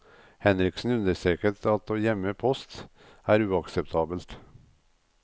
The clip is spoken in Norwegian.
Henriksen understreker at å gjemme post er uakseptabelt.